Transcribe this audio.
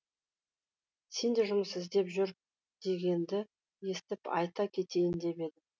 сен де жұмыс іздеп жүр дегенді естіп айта кетейін деп едім